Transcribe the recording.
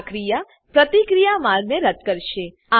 આ ક્રિયા પ્રતિક્રિયા માર્ગને રદ્દ કરશે